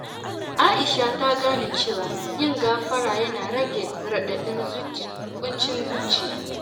Aisha ta gane cewa yin gafara yana rage raɗaɗin ƙuncin zuciya.